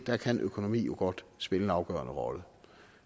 der kan økonomi jo godt spille en afgørende rolle